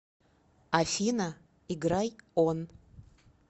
афина играй он